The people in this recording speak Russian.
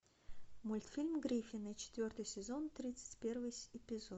мультфильм гриффины четвертый сезон тридцать первый эпизод